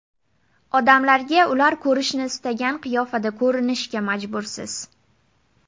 Odamlarga ular ko‘rishni istagan qiyofada ko‘rinishga majbursiz.